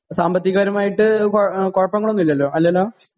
സാമ്പത്തിക പരമായിട്ട് കുഴപ്പങ്ങളൊന്നും ഇല്ലല്ലോ അല്ലല്ലോ